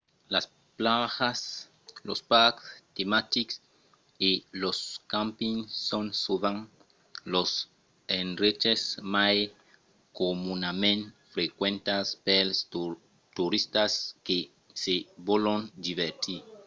las plajas los parcs tematics e los campings son sovent los endreches mai comunament frequentats pels toristas que se vòlon divertir